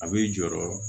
A bɛ jɔɔrɔ